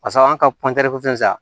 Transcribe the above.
Pasa an ka sa